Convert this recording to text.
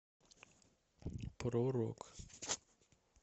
про рок